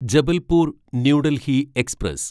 Jabalpur new Delhi express